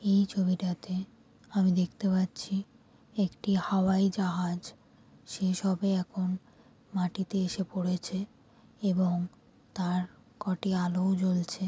এই ছবিটাতে আমি দেখতে পাচ্ছি একটি হাওয়ায় জাহাজ. সেসবে এখন মাটিতে এসে পড়েছে এবং তার কটি আলোও জ্বলছে ।